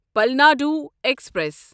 Palnadu express